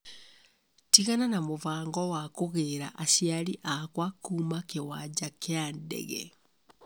tigana na mũbango wa kũgĩĩra aciari akwa kuuma kĩwanja kĩa ndege